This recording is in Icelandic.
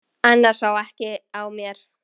Annars sá ekki á mér.